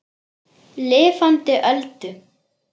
Lifandi Öldu.